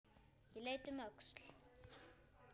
Ég leit um öxl.